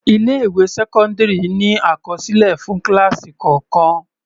Ilé ìwé sẹ́cọ́ndírì ní àkọsílẹ̀ fún kíláásì kọ̀ọ̀kàn.